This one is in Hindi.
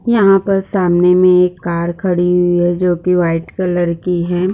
यहाँ पर सामने में एक कार खड़ी हुई है जो की वाइट कलर की हैं।